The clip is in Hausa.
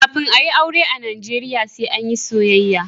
Kafin a yi aure a najeriya sai an yi soyayya.